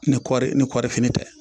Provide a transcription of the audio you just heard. Ni kɔɔri ni kɔɔrifini tɛ